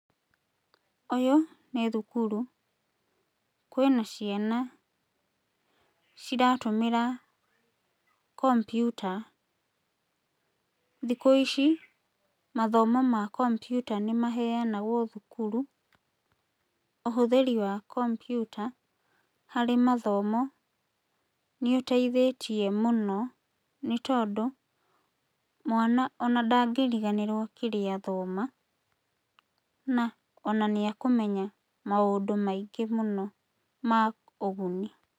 Ũyũ nĩ thukuru. Kwĩna ciana ciratũmĩra komputa. Thikũ ici mathomo ma komputa nĩ maheanagwo thukuru. Ũhũthĩri wa komputa harĩ mathomo nĩũteithĩtie mũno nĩtondũ mwana ona ndangĩriganĩrwo kĩrĩa athoma, na ona nĩakũmenya maũndũ maingĩ mũno ma ũguni.